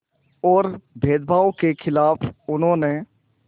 और भेदभाव के ख़िलाफ़ उन्होंने